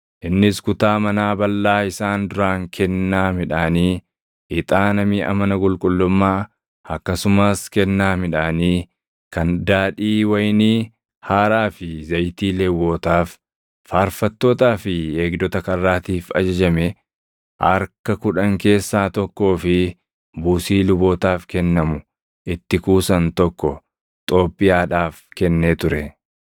innis kutaa manaa balʼaa isaan duraan kennaa midhaanii, ixaana miʼa mana qulqullummaa, akkasumas kennaa midhaanii, kan daadhii wayinii haaraa fi zayitii Lewwotaaf, faarfattootaa fi eegdota karraatiif ajajame harka kudhan keessaa tokkoo fi buusii lubootaaf kennamu itti kuusan tokko Xoobbiyaadhaaf kennee ture.